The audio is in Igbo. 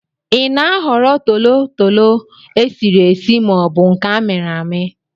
Ị na-ahọrọ tolotolo esiri esi ma ọ bụ nke amiri ami?